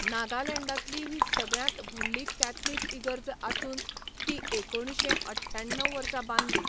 नागालँडांतली ही सगळ्यांत व्हडली कॅथलिक इगर्ज आसून ती एकुणशे अठ्ठ्याण्णव वर्सा बांदली.